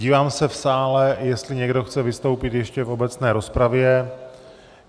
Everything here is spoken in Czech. Dívám se v sále, jestli někdo chce vystoupit ještě v obecné rozpravě.